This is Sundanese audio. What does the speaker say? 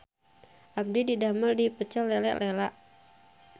Abdi didamel di Pecel Lele Lela